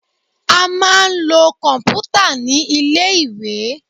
A máa ń lo kọ̀m̀pútà ní ilé-ìwé